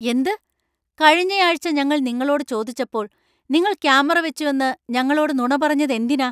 എന്ത് ? കഴിഞ്ഞയാഴ്ച ഞങ്ങൾ നിങ്ങളോട് ചോദിച്ചപ്പോൾ നിങ്ങൾ ക്യാമറ വെച്ചുവെന്നു ഞങ്ങളോട് നുണ പറഞ്ഞത് എന്തിനാ?